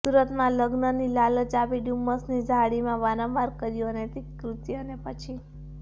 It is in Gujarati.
સુરતમાં લગ્નની લાલચ આપી ડુમ્મસની ઝાડીમાં વારંવાર કર્યું અનૈતિક કૃત્ય અને પછી